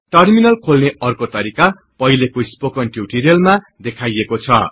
terminal खोल्ने अर्को तरिका पहिलेको स्पोकन टिउटोरियलमा देखाइएको छ